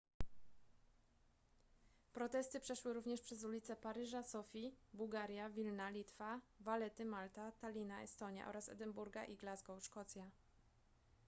protesty przeszły również przez ulice paryża sofii bułgaria wilna litwa valetty malta tallina estonia oraz edynburga i glasgow szkocja